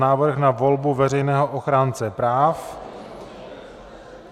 Návrh na volbu Veřejného ochránce práv